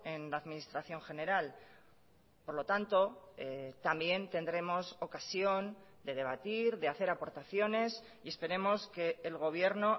en la administración general por lo tanto también tendremos ocasión de debatir de hacer aportaciones y esperemos que el gobierno